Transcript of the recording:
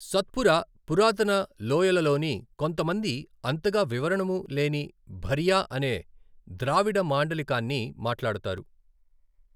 సత్పురా పురాతన లోయలలోని కొంతమంది అంతగా వివరణము లేని భరియా అనే ద్రావిడ మాండలికాన్ని మాట్లాడతారు.